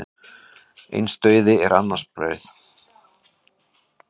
Eins dauði er annars brauð.